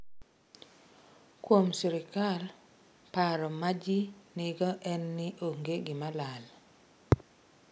Kuom sirkal, paro ma ji nigo en ni onge gima lal.